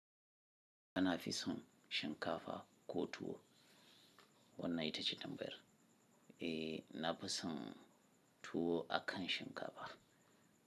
Na fi son shinkafa ko tuwo wannan ita ce dambe, eh na fi son tuwo akan shinkafa.